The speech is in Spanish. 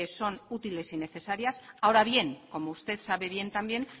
son útiles y necesarios ahora bien como usted sabe bien también